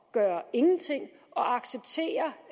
gøre ingenting og acceptere